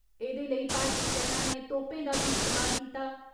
एदे लेई भारतीय सैना नै तोपे दा बी इस्तेमाल कीता।